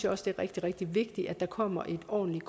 også rigtig rigtig vigtigt at der kommer et ordentligt